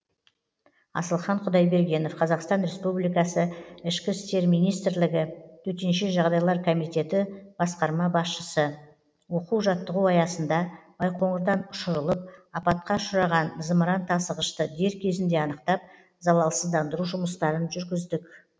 асылхан құдайбергенов қазақстан республикасы ішкі істер министрлігі төтенше жағыдайлар комитеті басқарма басшысы оқу жаттығу аясында байқоңырдан ұшырылып апатқа ұшыраған зымырантасығышты дер кезінде анықтап залалсыздандыру жұмыстарын жүргіздік